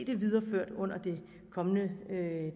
her videreført under det kommende